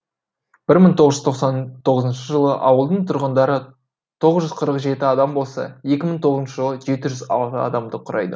бір мың тоғыз жүз тоқсан тоғызыншы жылы ауылдың тұрғындары тоғыз қырық жеті адам болса екі мың тоғызыншы жылы жеті жүз алты адамды құрады